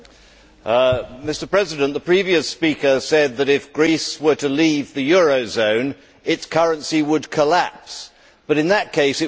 Mr President, the previous speaker said that if Greece were to leave the eurozone, its currency would collapse, but in that case, it would default.